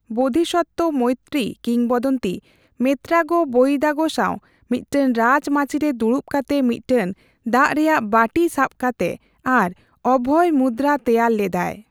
ᱵᱳᱫᱷᱤᱥᱚᱛᱛᱚ ᱢᱚᱭᱛᱨᱤ ᱠᱤᱝ ᱵᱚᱫᱚᱱᱛᱤ ' ᱢᱮᱛᱛᱨᱟᱜᱳ ᱵᱳᱣᱫᱟᱜᱳ' ᱥᱟᱣ ᱢᱤᱫ ᱴᱟᱝ ᱨᱟᱡᱽ ᱢᱟᱪᱤ ᱨᱮ ᱫᱩᱲᱩᱵ ᱠᱟᱛᱮ ᱢᱤᱫ ᱴᱟᱝ ᱫᱟᱜ ᱨᱮᱭᱟᱜ ᱵᱟᱴᱤ ᱥᱟᱵ ᱠᱟᱛᱮ ᱟᱨ ᱚᱵᱷᱚᱭ ᱢᱩᱫᱽᱫᱨᱟ ᱛᱮᱭᱟᱨ ᱞᱮᱫᱟᱭ ᱾